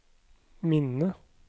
minne